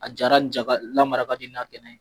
A jara ja ka lamara ka di n'a kɛnɛ ye.